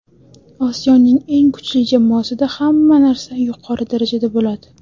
Osiyoning eng kuchli jamoasida hamma narsa yuqori darajada bo‘ladi.